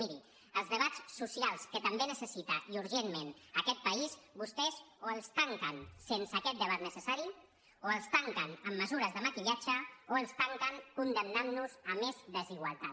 mirin els debats socials que també necessita i urgentment aquest país vostès o els tanquen sense aquest debat necessari o els tanquen amb mesures de maquillatge o els tanquen condemnant nos a més desigualtat